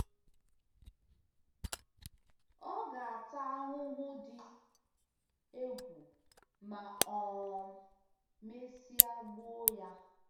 Ọ ga-ata ahụhụ dị egwu ma um mesịa gbuo ya.